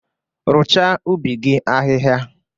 Rụchaa ubi gị ahịhịa!